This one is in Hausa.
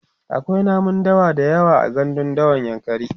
akwai namun dawa da yawa a gandun dawan yankari